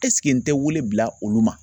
Ɛseke n tɛ wele bila olu ma.